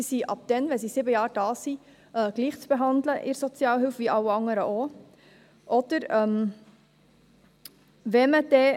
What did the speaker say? Sie sind ab dann, wenn sie sieben Jahre hier sind, gleich zu behandeln in der Sozialhilfe wie alle andere auch.